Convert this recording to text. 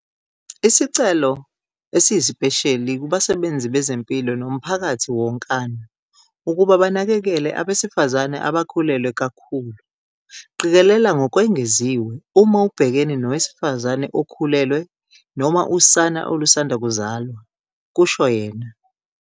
"Isicelo esiyisipesheli kubasebenzi bezempilo nomphakathi wonkana ukuba banakekele abesifazane abakhulelwe kakhulu. Qikelela ngokwengeziwe uma ubhekene nowesifazane okhulelwe noma usana olusanda kuzalwa," kusho yena.